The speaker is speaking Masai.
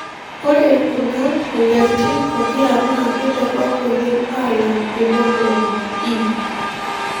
Ore kuna moyiaritin pokira naa kitorok oleng alang Hemoglobin E.